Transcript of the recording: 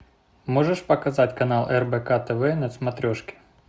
можешь показать канал рбк тв на смотрешке